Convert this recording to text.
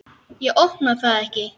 Ég opna það ekki.